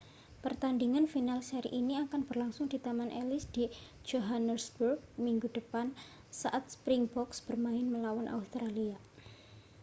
pertandingan final seri ini akan berlangsung di taman ellis di johannesburg minggu depan saat springboks bermain melawan australia